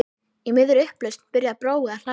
Í miðri upplausn byrjar Brói að hlæja.